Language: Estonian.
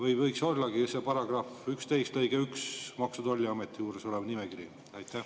Ehk võiks ollagi see § 11 lõige 1 Maksu- ja Tolliameti juures olev nimekiri?